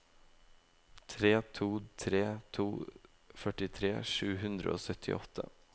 tre to tre to førtitre sju hundre og syttiåtte